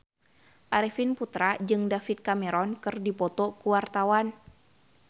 Arifin Putra jeung David Cameron keur dipoto ku wartawan